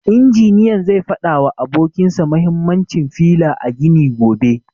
Injiniyan zai fada wa abokin sa mahimmancin fila a gini gobe.